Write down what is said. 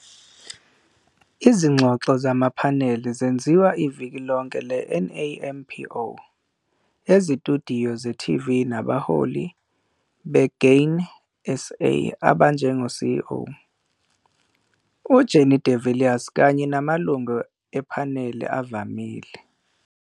Izingxoxo zamaphaneli zenziwa iviki lonke le-NAMPO ezitshudiyo ze-TV nabaholi be-Grain SA abanjengo-CEO, UJannie de Villiers, kanye namalungu ephaneli avamile.